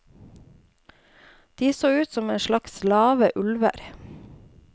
De så ut som en slags lave ulver.